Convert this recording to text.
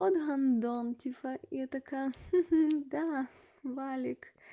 вот гандон типа я такая да ха-ха валик